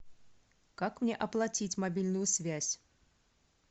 как мне оплатить мобильную связь